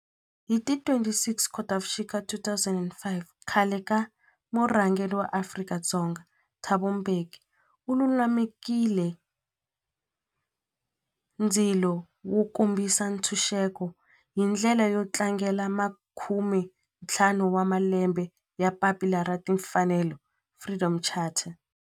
Hi ti 26 Khotavuxika 2005 khale ka murhangeri wa Afrika-Dzonga Thabo Mbeki u lumekile ndzilo wo kombisa ntshuxeko, hi ndlela yo tlangela makumentlhanu wa malembe ya papila ra timfanelo, Freedom Charter.